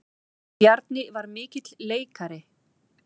Bjarni var mikill leikari.